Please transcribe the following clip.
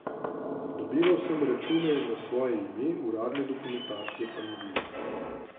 Dobival sem račune na svoje ime, uradne dokumentacije pa ni bilo.